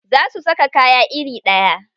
Za su saka kaya iri ɗaya.